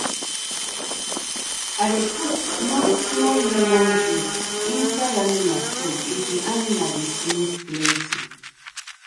i dey put small-small lemon juice inside animal food if the animal dey sneeze plenty.